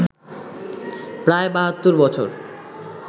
প্রায় ৭২ বছর